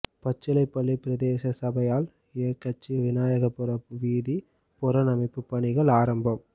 பச்சிலைப்பள்ளி பிரதேச சபையால் இயக்கச்சி விநாயகபுரம் வீதி புனரமைப்பு பணிகள் ஆரம்பம்